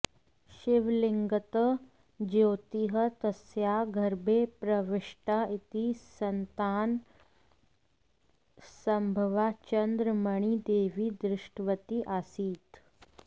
शिवलिङ्गतः ज्योतिः तस्याः गर्भे प्रविष्टा इति सन्तानसम्भवा चन्द्रमणि देवी दृष्टवती आसीत्